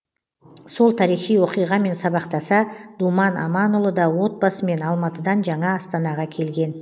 сол тарихи оқиғамен сабақтаса думан аманұлы да отбасымен алматыдан жаңа астанаға келген